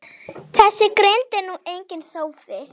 Þessi grind er nú enginn sófi.